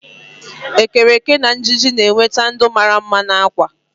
ekereke na ịjiji na-eweta ndụ mara mma na akwa